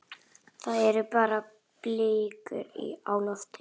Þar eru blikur á lofti.